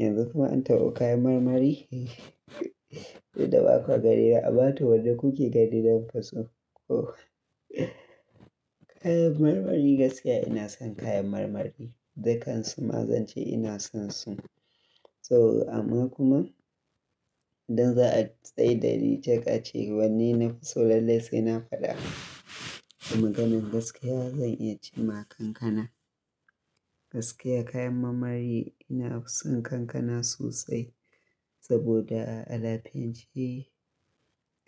Yanzu kuma an tabo kayan marmari? Duk da ba kwa ganina ammato mekuke gani bakwaso Oh, kayan marmari gaskiya ina son kayan marmari, dukan su ma zan ce ina son su. So amma kuma idan za a tsaida ni jaka ce wanne nafi so lallai sai na faɗa a maganan gaskiya zan iya ce ma kankana. Gaskiya kayan marmari ina son kankana sosai saboda a lafiyance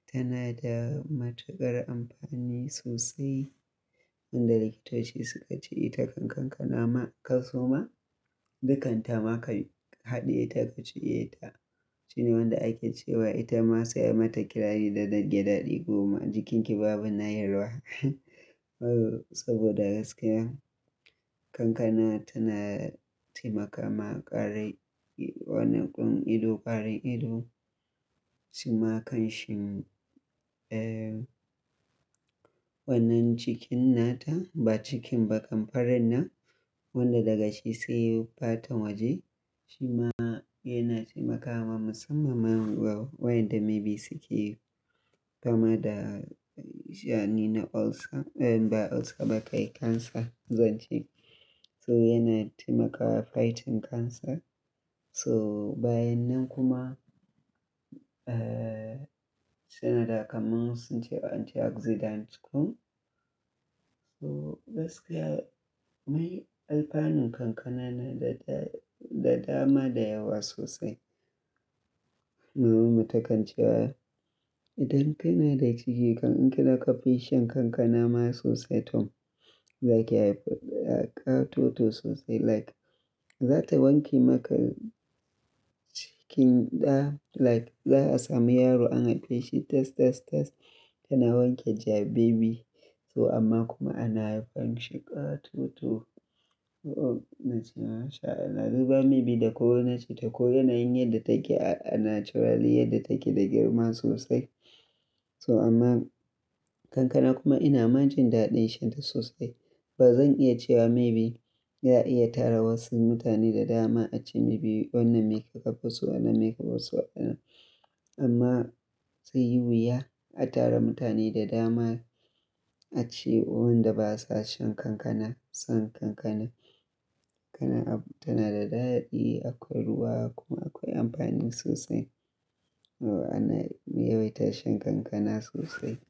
tana da matuƙar amfani sosai. Wanda likitoci suka ce ita kan kankana ma ka soma dukan ta ma ka haɗiye ta ka ciye ta shine wanda ake cewa ita ma sai mata kirari da na gyadaɗi goma jikinki babu nayarwa. Saboda gaskiya kankana tana taimakawa ƙarin wannan ƙun ido, ƙarin ido shima kan shin, eh wannan cikin nata ba cikin ba kamfarin nan wanda daga shi sai fatan waje shima yana taimakawa musamman ma wayanda maybe suke kama da sha'ani na ulcer ba ulcer ba kai cancer zan ce. So yana taimakawa fighting cancer. So bayan nan kuma, eh tana da kamun sun ce antioxidant kuma. So gaskiya mai alfanun kankana na da, da dama da yawa sosai. Maman mu takan ce wa idan kana da ciki kan in ki daƙa bishiyan kankana ma sosai Tom zaki haifi ƙato to sosai like zata wanke maka cikin ɗa like za'a samu yaro an haife shi tas, tas, tas tana wanke ja baby. So amma kuma ana haifan shi ƙato to. Na ce mashaAllah duba maybe da ko wane cita ko yana yin yadda take a naturally yadda take da girma sosai. So amma kankana kuma ina manjin daɗin sha ta sosai. Ba zan iya cewa maybe za'a iya tara wasu mutane da dama a ce maybe wannan me ka kafa so wannan me ka bar so wannan. Amma zai yi wuya a tara mutane da dama a ce wannan da ba sa shan kankana, son kankana. Tana da daɗaɗi akwai ruwa kuma akwai amfani sosai. Ana yawaita shan kankana sosai.